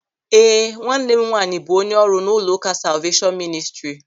Ee, nwanne m nwaanyị bụ onye ọrụ n'ụlọụka Salveeshọn Mịnịstrị.